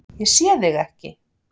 Ég sé þig ekki.